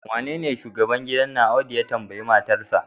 wanda shine shugaban gidan nan Audu ya tambayi matarsa